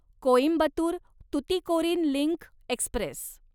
Coimbatore Tuticorin link Express